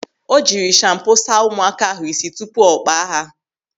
O jiri shampo saa ụmụaka ahụ isi tupu ọ kpaa ha.